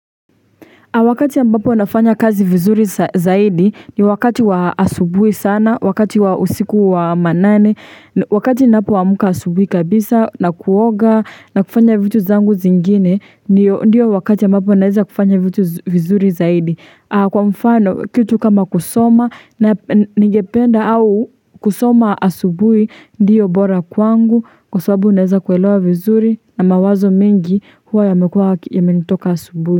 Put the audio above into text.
Wakati ambapo nafanya kazi vizuri zaidi ni wakati wa asubui sana, wakati wa usiku wa manane, wakati ninapo amka asubui kabisa na kuoga na kufanya vitu vyangu vingine, ndiyo wakati ambapo naweza kufanya vitu vizuri zaidi. Kwa mfano, kitu kama kusoma ngependa au kusoma asubui, ndiyo bora kwangu, kwa sababuu naweza kuelewa vizuri na mawazo mengi huwa yamekua ya menitoka asubui.